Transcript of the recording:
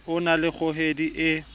o na le kgohedi e